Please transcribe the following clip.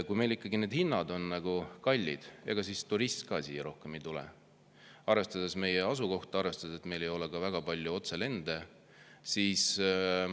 Kui meil ikkagi hinnad on kallid, ega siis turist siia rohkem ei tule, arvestades meie asukohta, arvestades seda, et siia ei tule ka väga palju otselende.